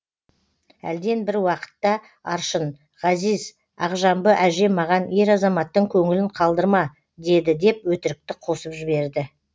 әлден бір уақытта аршын ғазиз ақжамбы әже маған ер азаматтың көңілін қалдырма деді деп өтірікті қосып жіберді